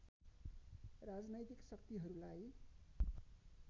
राजनैतिक शक्तिहरूलाई